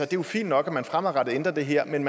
det er fint nok at man fremadrettet ændrer det her men